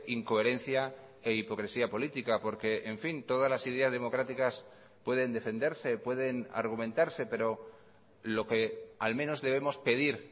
incoherencia e hipocresía política porque en fin todas las ideas democráticas pueden defenderse pueden argumentarse pero lo que al menos debemos pedir